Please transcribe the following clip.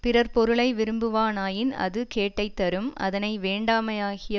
பிறர் பொருளை விரும்புவானாயின் அது கேட்டை தரும் அதனை வேண்டாமையாகிய